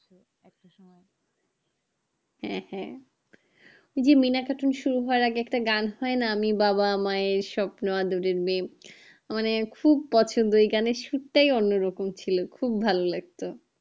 হ্যাঁ হ্যাঁ জি মিনা cartoon শুরু হবার আগে একটা গান হয়না আমি বাবা আমায় স্বপ্ন আদোরে মেয়ে মানে খুব পছন্দ ওই গানের সুর তাই কোনো রকম ছিল খুব ভালোলাগতো